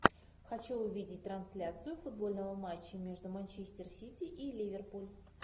хочу увидеть трансляцию футбольного матча между манчестер сити и ливерпуль